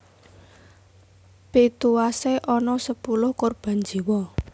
Pituwasé ana sepuluh korban jiwa